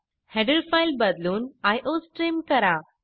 header file बदलून iostream करा